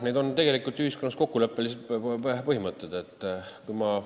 Need on ühiskonnas kokkuleppelised põhimõtted.